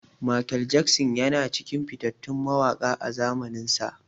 Mikel Jackson yana cikin fitattun mawaƙa a zamaninsa.